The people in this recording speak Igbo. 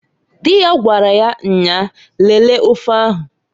Di ya gwaraya nnyaa, "Lelee ofe ahu"ǃ